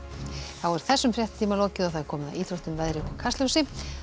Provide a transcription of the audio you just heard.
er þessum fréttatíma lokið og komið að íþróttum veðri og Kastljósi